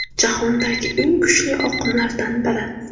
Jahondagi eng kuchli oqimlardan biri.